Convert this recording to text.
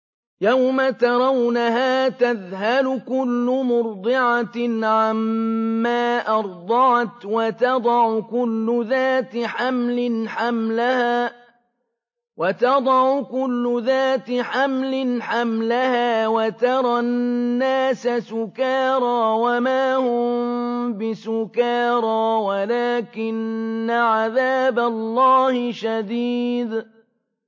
يَوْمَ تَرَوْنَهَا تَذْهَلُ كُلُّ مُرْضِعَةٍ عَمَّا أَرْضَعَتْ وَتَضَعُ كُلُّ ذَاتِ حَمْلٍ حَمْلَهَا وَتَرَى النَّاسَ سُكَارَىٰ وَمَا هُم بِسُكَارَىٰ وَلَٰكِنَّ عَذَابَ اللَّهِ شَدِيدٌ